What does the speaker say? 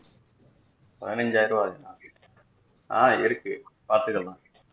பதினைந்து ஆயிரம் ரூபா ஆகுமா ஆஹ் இருக்கு பாத்துக்கலாம்